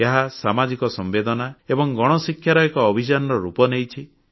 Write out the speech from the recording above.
ଏହା ସାମାଜିକ ସମ୍ବେଦନା ଏବଂ ଗଣଶିକ୍ଷାର ଏକ ଅଭିଯାନର ରୂପ ନେଇଛି